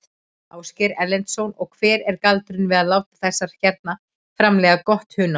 Ásgeir Erlendsson: Og hver er galdurinn við að láta þessar hérna framleiða gott hunang?